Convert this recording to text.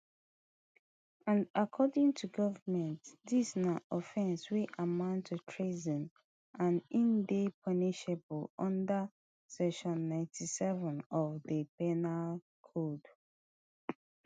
and according to goment dis na offence wey amount to treason and e dey punishable unda section ninety-seven of di penal code